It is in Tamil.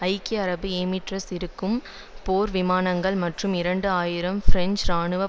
ஐக்கிய அரபு எமிரெட்ஸ் இருக்கும் போர் விமானங்கள் மற்றும் இரண்டு ஆயிரம் பிரெஞ்சு இராணுவ